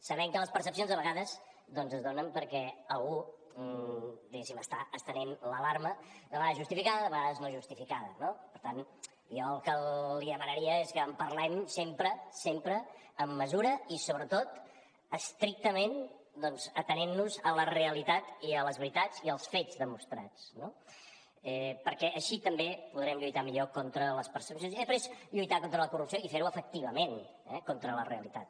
sabem que les percepcions a vegades es donen perquè algú diguéssim està estenent l’alarma de vegades justificada i de vegades no justificada no per tant jo el que li demanaria és que en parlem sempre sempre amb mesura i sobretot estrictament atenent nos a la realitat i a les veritats i als fets demostrats no perquè així també podrem lluitar millor contra les percepcions i després lluitar contra la corrupció i fer ho efectivament contra la realitat